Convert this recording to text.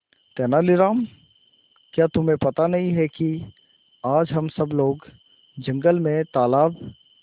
तेनालीराम क्या तुम्हें पता नहीं है कि आज हम सब लोग जंगल में तालाब